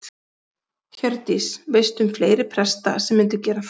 Hjördís: Veistu um fleiri presta sem myndu gera það?